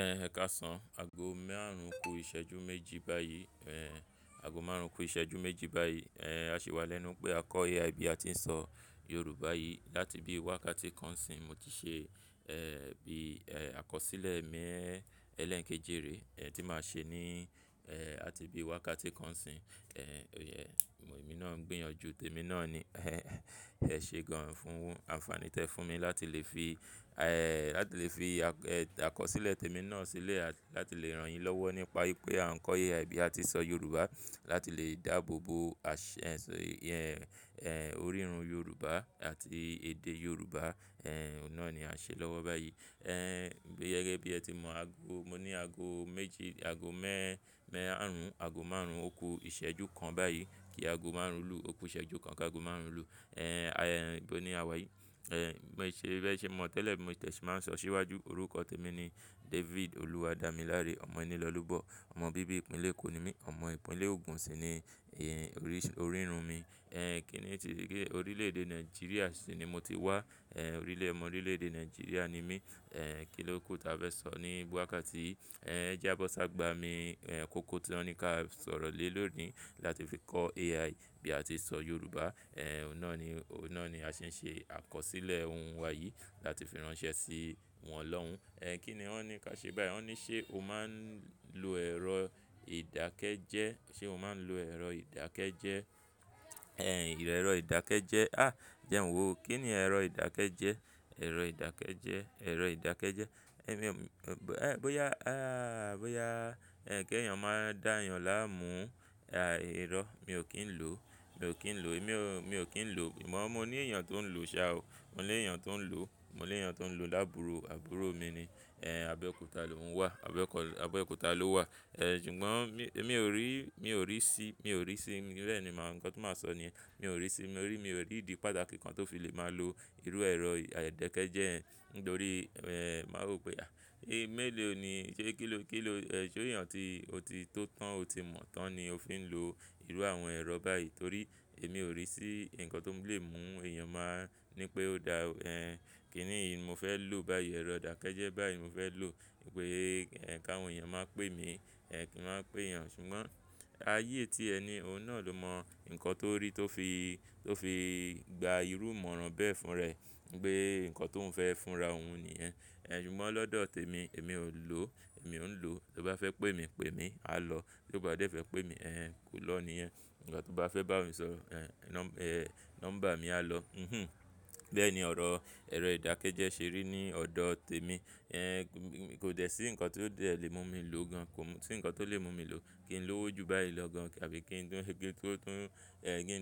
Ẹ káàsán, aago mẹ́rin ó kù ìṣẹ́jú méjì báyìí. Aago márùn-ún kù ìṣẹ́jú méjì báyìí. A ṣì wà lẹ́nu pé a ń kọ́ AI bí a ti ń sọ Yorùbá yìí. Láti bíi wákàtí kan ní sìn, mo ti ṣe bíi, àkọsílẹ̀ ẹlẹ́ẹ̀keje rè. Ẹ̀, tí màá ṣe ni, àti bí wákàtí kan ní sìn. E náà ń gbìyànjú tèmi náà ni. Ẹ̀ẹ̀ ẹ ṣé gan-an fún un. Àǹfààní tí ẹ fún mi láti lè fi, láti lè fi, àkọsílẹ̀ tèmi náà sílẹ̀ àti láti lè ràn yín lọ́wọ́ nípa wípé a ń kọ́ AI bí a ti ń sọ Yorùbá, láti lè dáàbò bo orírun Yorùbá àti èdè Yorùbá. Ẹ̀ẹ̀, òun náà ní a ń ṣe lọ́wọ́ báyìí. Ẹ̀ẹ̀, gẹ́gẹ́ bí ẹ ti mọ̀ ago, mo ní aago méjì, aago márùn-ún ó kù ìṣẹ́jú kan báyìí. Kí aago márùn-ún lù ó kù ìṣẹ́jú kan kí aago márùn-ún lù. Ẹ̀ẹ̀, íbo ni a wà yìí. Ẹ̀ẹ̀, bí ẹ ṣe, bí ẹ ṣe mọ̀ tẹ́lẹ̀ bí mo de se máa ń sọ síwájúorúkọ tèmi ni David Oluwadamilare Omoenilolubo. Ọmọ bíbí ìpínlẹ̀ Èkó ni mí. Ọmọ ìpínlẹ̀ Ògùn sì ni, orírun mi. Ẹ̀ẹ̀, kíni orílẹ̀-èdè Nàìjíríà sì ni mo ti wá. Ẹ̀n, ọmọ orílẹ̀-èdè Nàìjíríà ni mí. Ẹ̀n, kìlọ́ ku tí a fẹ́ sọ ní wákàtí yìí. Ẹ̀n, ẹ jẹ́ á bọ́ sí àgbàmi. Ẹ̀n kókó tí wọ́n ní kí a sọ̀rọ̀ lé lóòní láti fi kọ́ AI bí a ti ń sọ Yorùbá. Ẹ̀n, òun náà ni, òun náà ni a ṣe ń ṣe àkọsílẹ̀ ohùn wa yìí láti fi ránṣẹ́ sí wọn lọ́hùn-ún. Ẹ̀n, kí ni wọ́n ní ká ṣe báyìí? Wọ́n ní ṣé o máa ń lo ẹ̀rọ ìdákẹ́jẹ́, ṣé o máa ń lo ẹ̀rọ ìdákẹ́jẹ́? Ẹ̀rọ ìdákẹ́jẹ́. À! Jẹ́ ń wò. Kí ni ẹ̀rọ ìdákẹ́jẹ́? Ẹ̀rọ ìdákẹ́jẹ́, ẹ̀rọ ìdákẹ́jẹ́. Èmi bóyá, bóyá, kí èèyàn máà dá èèyàn láàmú, irọ́, mi ò kín ń lò ó. Mi ò kín ń lò. Èmi mi ò kín ń lò. Àmọ́ mó ní èèyàn tó ń lò ó ṣá o. Mo lè èèyàn tó ń lò ó. Mo lè èèyàn tó ń lò ó lábùúrù. Àbúrò mi ni. Ẹ̀n, Abẹ́òkúta ló ń wà. Abẹ́kọ-- Abẹ́òkúta ló wà. Ẹ̀n, ṣùgbọ́n èmi ò rí, mi ò rí sí, mi ò rí sí. Bẹ́ẹ̀ ni nǹkan ti máa sọ ni yẹn mi ò rí sí. Mo rí, mi ò rí ìdí pàtàkì kan tó fi lè máa lo irú ẹ̀rọ ìdákẹ́jẹ́ yẹn. Nítorí, màá rò pé à, mélòó ni, ṣé kí ló, kí ló, ẹ ṣé èèyàn tí ó ti tó tán, ó ti mọ̀ tán ni ó fi ń lo irú àwọn ẹ̀rọ báyìí? Torí èmi ò rí sí ǹkan tó lè mú èèyàn máa ní pé ó da. Ẹ̀n, kí nìí mo fẹ́ lò báyìí? Ẹ̀rọ ìdákẹ́jẹ́ báyìí mo fẹ́ lò. Ní pé, kí àwọn èèyàn máà pè mí. Ẹ̀n, kí wọ́n máà pè èèyàn. Ṣùgbọ́n ayé tí ẹ ni ọ̀hún náà ló mọ ǹkan tó rí tó fi, tó fi gba irú ìmọ̀ràn bẹ́ẹ̀ fún ni pé ǹkan tó ń fẹ́ fúnra òun ni yẹn. Ẹ̀n, ṣùgbọ́n lọ́dọ̀ tèmi, èmi ò lò ó. Èmi ò ń lò ó. Tó bá fẹ́ pè mí, pè mí, a lọ. Tí bá dé fẹ́ pè mí, kò lọ̀ ni yẹn. Ìgbà tó o bá fẹ́ bá mi sọ̀rọ̀, nọ́mbà mi, a lọ. Bẹ́ẹ̀ ni ọ̀rọ̀ ẹ̀rọ ìdákẹ́jẹ́ ṣe rí ní ọ̀dọ̀ tèmi. Ẹ̀n, kò dẹ sí nǹkan tí ó dẹ lè mú mí lò ó gan-an. Kò sí nǹkan tó lè mú mí lò ó. Kí n lówó jù báyìí lọ gan àbí, kí n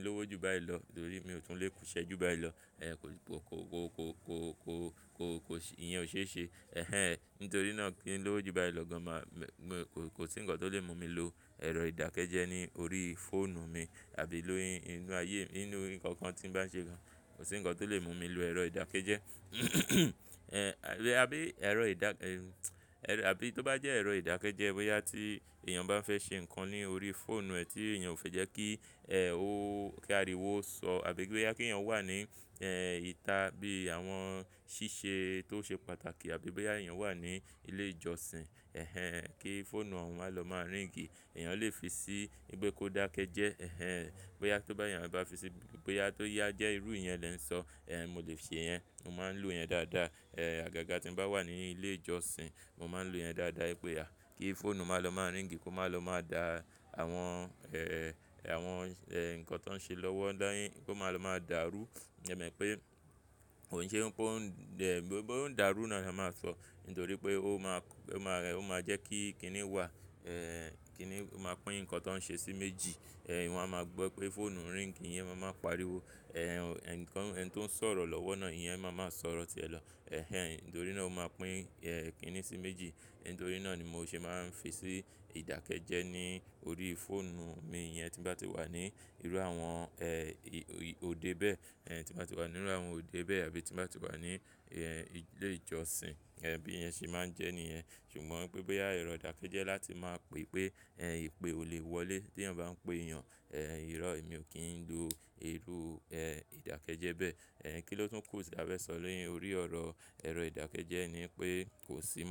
lówó jù báyìí lọ? Nítorí mi ò tún lè kú iṣẹ́ jù báyìí lọ. Ẹ̀n, kò, kò, kò, kò, kò, kò, kò, kò ìyẹn ò ṣe é ṣe. Ẹ̀hẹn. Nítorí náà kí n lówó jù báyìí lọ gan kò sí ǹkan tó lè mú mí lo ẹ̀rọ ìdákẹ́jẹ́ ní orí fóònù mí àbí lórí inú ayé, inú nǹkan kan tí ń bá ṣe gan. Kò sí nǹkan tó lè mú mí lo ẹ̀rọ ìdákẹ́jẹ́. Ẹ̀n, àbí ẹ̀rọ, àbí tó bá jẹ́ ẹ̀rọ ìdákẹ́jẹ́ bóyá tí èèyàn bá fẹ́ ṣe nǹkan ní orí fóònù ẹ tí ìyẹn ò fẹ́ jẹ́ kí. Kó, kí a rí i wò ó sọ àbí bóyá kí èèyàn wà ní, ìta bíi àwọn ṣíṣe tó ṣe pàtàkì àbí bóyá èèyàn wà ní ilé-ìjọsìn. Ẹ̀hẹn. Kí fóònù ọ̀hún máà lọ máà ríǹgì. Èèyàn lè fi sí i, wipe kó dákẹ́jẹ́. Ẹ̀hẹn. Bóyá tó bá èèyàn bá fi sí, bóyá tó yá jẹ́ irú ìyẹn lè ń sọ. Ẹ̀n, mo lè ṣe ìyẹn. Mo máa ń lo ìyẹn dáadáa. Ẹ̀n, àgàgà tí ń bá wà ní ilé ìjọsìn, mo máa ń lo ìyẹndáadáa wí péà, kí fóònù máàlọ máa ríǹgì, kó máàlọ máa da àwọn, àwọn, nǹkan tó ń ṣe lọ́wọ́, kó máà lọ máa dàrú. Ẹ mọ̀ pé, kò ṣe pé ó ń, ó ń dàrú náà ni a máa sọ. Nítorí pé ó máa, ó máa, ó máa jẹ́ kí kinní wà, kinní ó máa pín nǹkan tó ń ṣe sí méjì. Ẹ̀n, wọ́n á máa gbọ́ pé fóònù ń ríǹgì, ìyẹn máa ma pariwo. Ẹ̀n, nǹkan, ẹni tó ń sọ̀rọ̀ lọ́wọ́ náà, ìyẹn máa ma sọ̀rọ̀ tí ẹ lọ. Ẹ̀hẹn. Nítorí náà ó máa pín, kinní sí méjì. Nítorí náà ni mo ṣe máa ń fi sí ìdákẹ́jẹ́ ní orí fóònù mi iyẹn tín bá ti wà ní irú àwọn, òde bẹ́ẹ̀. Ẹ̀n, tín bá ti wà nínú irú àwọn òde bẹ́ẹ̀ àbí tín bá ti wà ní ilé-ìjọsìn. Ẹ̀n, bí ìyẹnṣe máa ń jẹ́ nìyẹn. Ṣùgbọ́n pé bóyá, ẹ̀rọ ìdákẹ́jẹ́ láti máa pè pé, ìpè ò lè wọlé tí èèyàn bá ń pè èèyàn. Ẹ̀n, irọ́, èmi ò kí ń lo irú, ìdákẹ́jẹ́ bẹ́ẹ̀. Kí ni ó tún kù tí a fẹ́ sọ ni órí ọ̀rọ̀ ẹ̀rọ ìdákẹ́jẹ́ ni pé, kò sí.